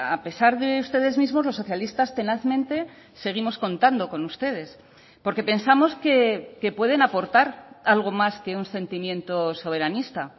a pesar de ustedes mismos los socialistas tenazmente seguimos contando con ustedes porque pensamos que pueden aportar algo más que un sentimiento soberanista